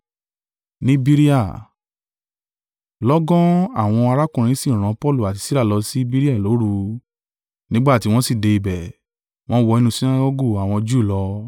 Lọ́gán àwọn arákùnrin sì rán Paulu àti Sila lọ ṣí Berea lóru. Nígbà tí wọ́n sí dé ibẹ̀, wọ́n wọ inú Sinagọgu àwọn Júù lọ.